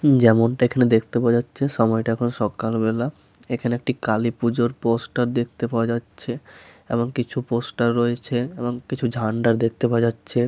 উ যেমনটা এইখানে দেখতে পাওয়া যাচ্ছে সময়টা এখন সকালবেলা এইখানে একটি কালীপুজোর পোস্টার দেখতে পাওয়া যাচ্ছে এবং কিছু পোস্টার রয়েছে এবং কিছু ঝান্ডা দেখতে পাওয়া যাচ্ছে।